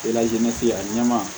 a ɲɛma